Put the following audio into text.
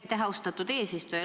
Aitäh, austatud eesistuja!